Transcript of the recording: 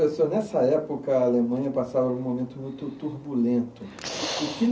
Nessa época a Alemanha passava um momento muito turbulento. (chiado) O que